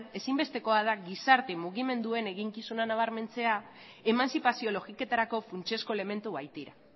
ezinbestekoa da gizarte mugimenduen eginkizuna nabarmentzea emantzipazio logiketarako funtsezko elementu baitira